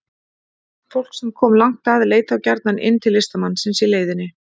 Fólk sem kom langt að leit þá gjarnan inn til listamannsins í leiðinni.